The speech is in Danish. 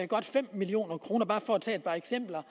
godt fem million kroner for bare at tage et par eksempler